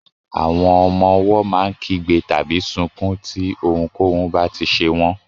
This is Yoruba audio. Àwọn ọmọ owó má n kígbe tàbí sunkún tí ohùn k'ohun ba tí ṣe wón